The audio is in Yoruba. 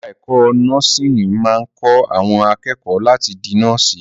Ẹ̀ka ẹ̀kó nọ́ọ̀sìnì máa ń kọ́ àwọn akẹ́kọ̀ọ́ láti di nọ́ọ̀sì.